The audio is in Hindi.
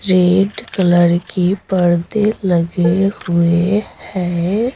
रेड कलर की पर्दे लगे हुए हैं।